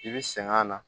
I bi sɛgɛn a na